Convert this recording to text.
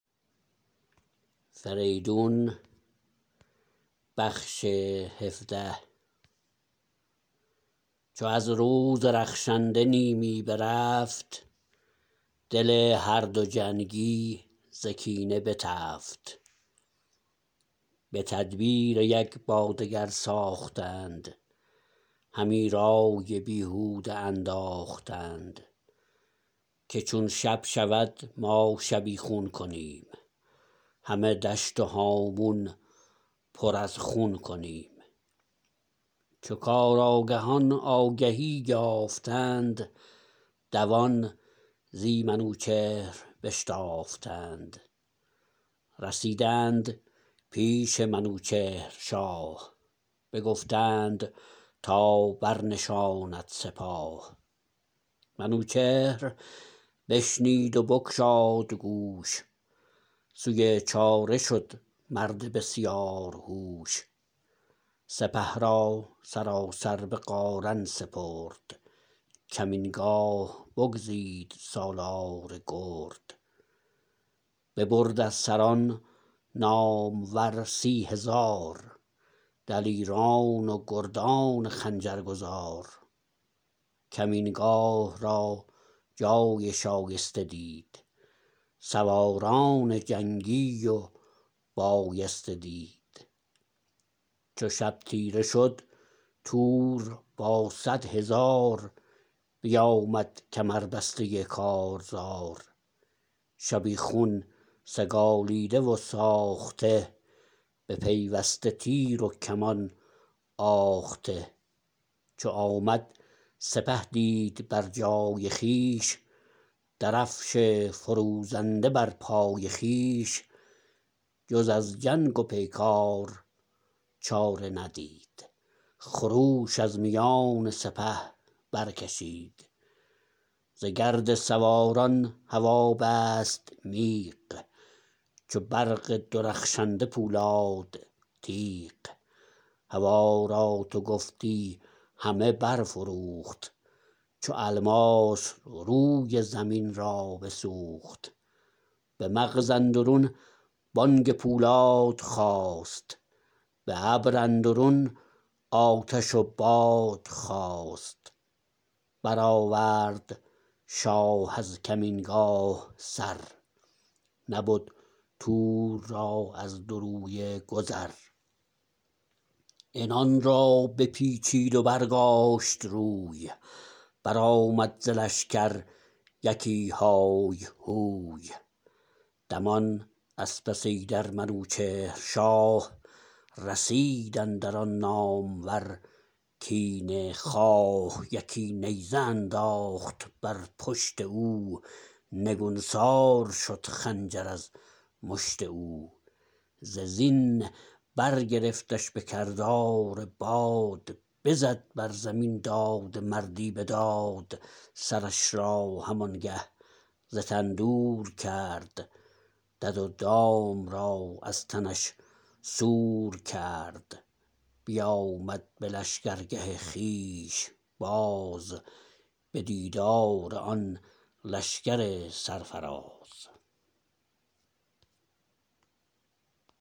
چو از روز رخشنده نیمی برفت دل هر دو جنگی ز کینه بتفت به تدبیر یک با دگر ساختند همه رای بیهوده انداختند که چون شب شود ما شبیخون کنیم همه دشت و هامون پر از خون کنیم چو کارآگهان آگهی یافتند دوان زی منوچهر بشتافتند رسیدند پیش منوچهر شاه بگفتند تا برنشاند سپاه منوچهر بشنید و بگشاد گوش سوی چاره شد مرد بسیار هوش سپه را سراسر به قارن سپرد کمین گاه بگزید سالار گرد ببرد از سران نامور سی هزار دلیران و گردان خنجر گزار کمین گاه را جای شایسته دید سواران جنگی و بایسته دید چو شب تیره شد تور با صدهزار بیامد کمربسته کارزار شبیخون سگالیده و ساخته بپیوسته تیر و کمان آخته چو آمد سپه دید بر جای خویش درفش فروزنده بر پای پیش جز از جنگ و پیکار چاره ندید خروش از میان سپه بر کشید ز گرد سواران هوا بست میغ چو برق درخشنده پولاد تیغ هوا را تو گفتی همی برفروخت چو الماس روی زمین را بسوخت به مغز اندرون بانگ پولاد خاست به ابر اندرون آتش و باد خاست برآورد شاه از کمین گاه سر نبد تور را از دو رویه گذر عنان را بپیچید و برگاشت روی برآمد ز لشکر یکی های هوی دمان از پس ایدر منوچهر شاه رسید اندر آن نامور کینه خواه یکی نیزه انداخت بر پشت او نگونسار شد خنجر از مشت او ز زین برگرفتش به کردار باد بزد بر زمین داد مردی بداد سرش را هم آنگه ز تن دور کرد دد و دام را از تنش سور کرد بیامد به لشکرگه خویش باز به دیدار آن لشکر سرفراز